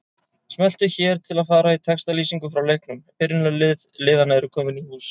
Smelltu hér til að fara í textalýsingu frá leiknum Byrjunarlið liðanna eru komin í hús.